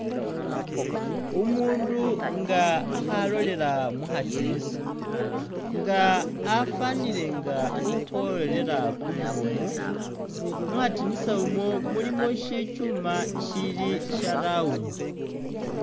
Umundu nga akhalolela mukhadinisa nga afanile nga ukhoworera kumumu mukhadinisa umwo mulimo shichuma shili sha round